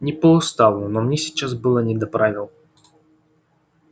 не по уставу но мне сейчас было не до правил